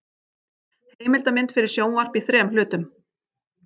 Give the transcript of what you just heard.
Heimildamynd fyrir sjónvarp í þrem hlutum.